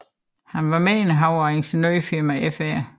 Han var medindehaver af ingeniørfirmaet Fr